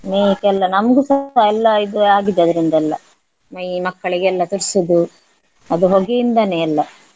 ಎಲ್ಲ ನಮ್ಗುಸ ಎಲ್ಲ ಇದು ಆಗಿದೆ ಅದ್ರಿಂದೆಲ್ಲ ಮೈ ಮಕ್ಕಳಿಗೆಲ್ಲ ತುರ್ಸುದು ಅದು ಹೊಗೆಯಿಂದನೇ ಎಲ್ಲ.